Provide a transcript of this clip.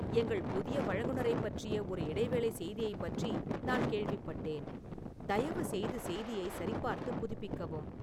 எங்கள் புதிய வழங்குநரைப் பற்றிய ஒரு இடைவேளை செய்தியைப் பற்றி நான் கேள்விப்பட்டேன், தயவுசெய்து செய்தியைச் சரிபார்த்து புதுப்பிக்கவும்